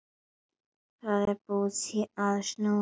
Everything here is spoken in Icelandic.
Það er búið að snúa öllu við, já.